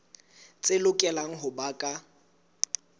tse lokelang ho ba ka